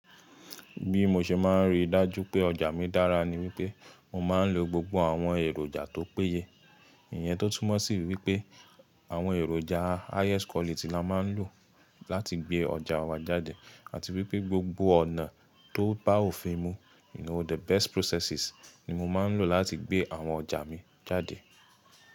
Bí mo ṣe máa ń rí dájú pé ọjà mi dára ni wípé mo máa ń lo gbogbo àwọn èròjà tó péye. Ìyẹn tó túmọ̀ sí wípé àwọn èròjà highest quality la máa ń lò láti gbé ọjà wa jáde àti wípé gbogbo ọ̀nà tó bá òfin mu, you know the best processes ni mo máa ń lò láti gbé àwọn ọjà mi jáde.